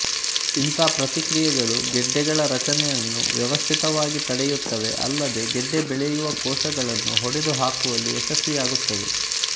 ಇಂತಹ ಪ್ರತಿಕ್ರಿಯೆಗಳು ಗೆಡ್ಡೆಗಳ ರಚನೆಯನ್ನು ವ್ಯವಸ್ಥಿತವಾಗಿ ತಡೆಯುತ್ತವೆ ಅಲ್ಲದೇ ಗೆಡ್ಡೆ ಬೆಳೆಯುವ ಕೋಶಗಳನ್ನು ಹೊಡೆದು ಹಾಕುವಲ್ಲಿ ಯಶಸ್ವಿಯಾಗುತ್ತವೆ